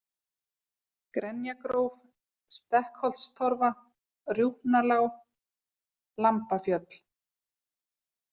Grenjagróf, Stekkholtstorfa, Rjúpnalág, Lambafjöll